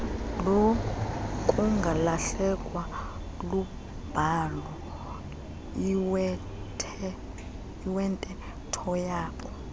lokungalahlekwa lubhalo iwenteethoyabo